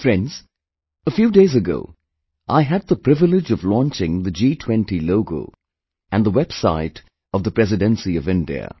Friends, a few days ago I had the privilege of launching the G20 logo and the website of the Presidency of India